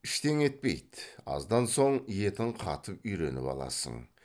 іштеңе етпейді аздан соң етің қатып үйреніп аласың